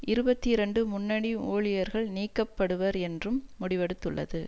இருபத்தி இரண்டு முன்னணி ஊழியர்கள் நீக்கப்படுவர் என்றும் முடிவெடுத்துள்ளது